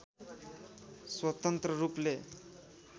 स्वतन्त्र रूपले